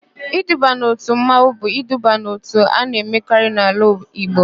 Iduba n'òtù mmanwụ bụ iduba n'òtù a na-emekarị n'ala Igbo.